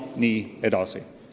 Ja nii edasi.